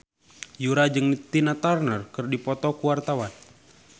Yura jeung Tina Turner keur dipoto ku wartawan